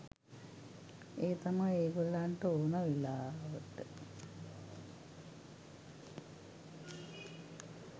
එය තමයි ඒ ගොල්ලන්ට ඕන වෙලාවට